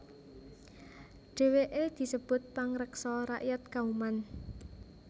Dheweke disebut pangreksa rakyat Kauman